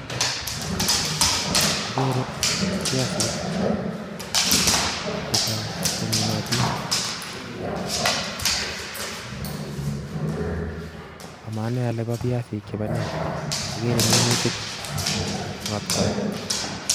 Ageere biasik chechang cheminotin, ama anai ale biasik chebo nee ,agere minutik ot kora